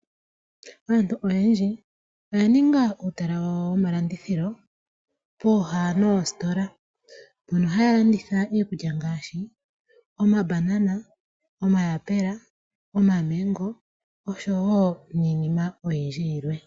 Aantu oyendji oya ninga uutala wawo womalandithilo pooha noositola, mpono haya landitha iikulya ngaashi omabanana, omayapula, omamango oshowo iinima yilwe oyindji.